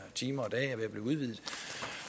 timer og dage